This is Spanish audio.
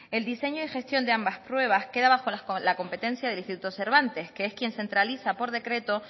el diseño y gestión de ambas pruebas queda bajo la competencia del instituto cervantes que es quien centraliza por decreto